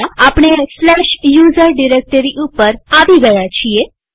હા આપણે usr directory ઉપર આવી ગયા છીએ